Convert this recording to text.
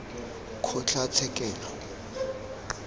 kgotlatshekelo